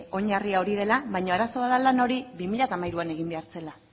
oinarria hori dela baina arazoa da hori bi mila hamairuan egin behar zela